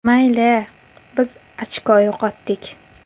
Mayli, biz ochko yo‘qotdik.